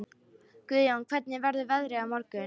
Guðjón, hvernig verður veðrið á morgun?